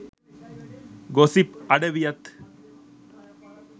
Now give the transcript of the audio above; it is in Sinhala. ගොසිප් අඩවියත්